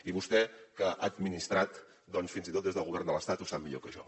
i vostè que ha administrat doncs fins i tot des del govern de l’estat ho sap millor que jo